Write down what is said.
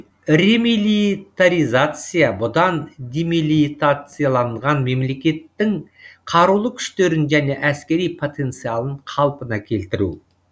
ремилитаризация бұдан демилитацияланған мемлекеттің қарулы күштерін және әскери потенциалын қалпына келтіру